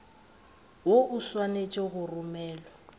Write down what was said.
woo o swanetše go romelwa